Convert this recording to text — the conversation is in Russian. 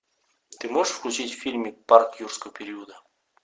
ты можешь включить фильм парк юрского периода